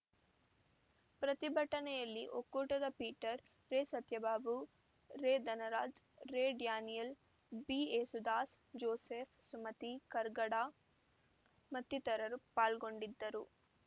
ಪ್ರತಿಭಟನೆಯಲ್ಲಿ ಒಕ್ಕೂಟದ ಪೀಟರ್‌ ರೆಸತ್ಯಭಾಬು ರೆಧನರಾಜ್‌ ರೆಡ್ಯಾನಿಯಲ್‌ ಬಿಏಸುದಾಸ್‌ ಜೋಸೆಫ್‌ ಸುಮತಿ ಕರ್ಕಡ ಮತ್ತಿತರರು ಪಾಲ್ಗೊಂಡಿದ್ದರು